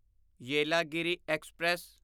Yelagiri express